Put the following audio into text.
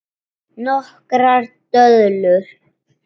Nokkrar döðlur